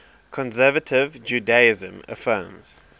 conservative judaism affirms